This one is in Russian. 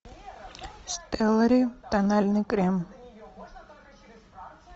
стеллари тональный крем